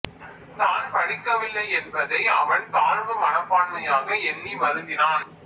தான் படிக்கவில்லை என்பதை அவன் தாழ்வு மனப்பான்மையாக எண்ணி வருந்தினான்